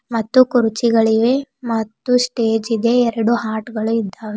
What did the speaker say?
ಮತ್ತು ಕುರ್ಚಿಗಳಿವೆ ಮತ್ತು ಸ್ಟೇಜಿ ದೆ ಮತ್ತು ಎರಡು ಹಾರ್ಟ್ಗ ಳು ಇದ್ದಾವೆ.